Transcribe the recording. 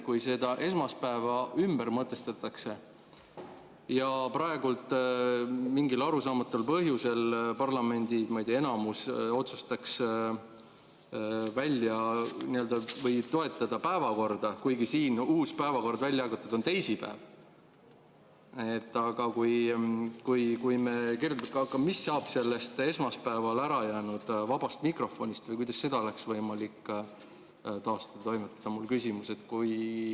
Kui esmaspäev ümber mõtestatakse ja praegu mingil arusaamatul põhjusel parlamendi, ma ei tea, enamus otsustaks toetada päevakorda, kuigi siin uus päevakord, mis on välja jagatud, teisipäevaga, siis mis saab esmaspäeval ärajäänud vabast mikrofonist, kuidas seda oleks võimalik taastada, on mul küsimus.